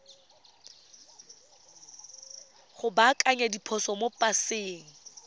go baakanya diphoso mo paseng